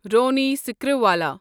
Ronnie Screwvala